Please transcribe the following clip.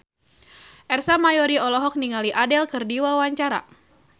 Ersa Mayori olohok ningali Adele keur diwawancara